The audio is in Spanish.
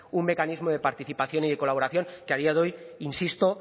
un mecanismo de participación y de colaboración que a día de hoy insisto